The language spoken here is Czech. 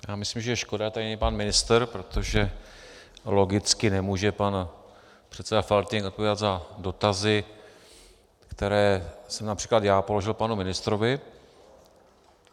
Já myslím, že je škoda, že tady není pan ministr, protože logicky nemůže pan předseda Faltýnek odpovídat za dotazy, které jsem například já položil panu ministrovi.